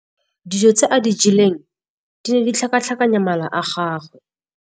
Dijô tse a di jeleng di ne di tlhakatlhakanya mala a gagwe.